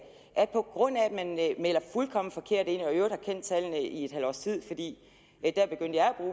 man melder fuldkommen forkert ind og i øvrigt tallene i et halvt års tid fordi